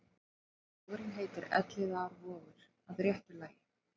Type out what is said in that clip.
Vogurinn heitir Elliðaárvogur að réttu lagi.